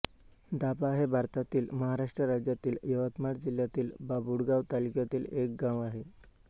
दाभा हे भारतातील महाराष्ट्र राज्यातील यवतमाळ जिल्ह्यातील बाभुळगाव तालुक्यातील एक गाव आहे